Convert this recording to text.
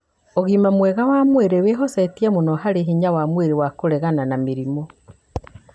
Ũgima mwega wa mwĩrĩ wĩhocetie mũno harĩ hinya wa mwĩrĩ wa kũregana na mĩrimũ.